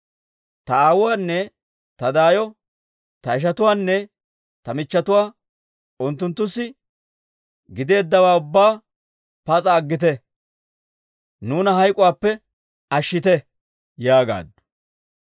Ta aawuwaanne ta daayo, ta ishatuwaanne ta michchetuwaa unttunttussa gideeddawaa ubbaa pas'a aggite; nuuna hayk'uwaappe ashshite» yaagaaddu.